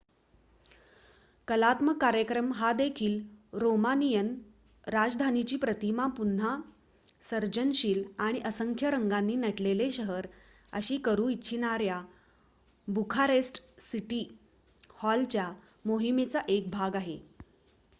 कलात्मक कार्यक्रम हा देखील रोमानियन राजधानीची प्रतिमा पुन्हा सर्जनशील आणि असंख्य रंगांनी नटलेले शहर अशी करू इच्छिणाऱ्या बुखारेस्ट सिटी हॉलच्या मोहिमेचा एक भाग आहे